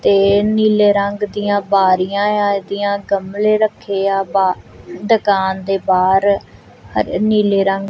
ਤੇ ਨੀਲੇ ਰੰਗ ਦੀਆਂ ਬਾਰੀਆਂ ਇਹਦੀਆਂ ਗਮਲੇ ਰੱਖੇ ਆ ਬ ਦੁਕਾਨ ਦੇ ਬਾਹਰ ਨੀਲੇ ਰੰਗ--